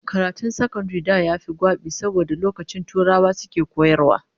Karatun sakandare na da yafi gwabi saboda lokacin turawa suke koyarwa